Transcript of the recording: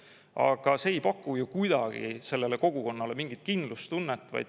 Aga see ei paku ju kuidagi sellele kogukonnale mingit kindlustunnet.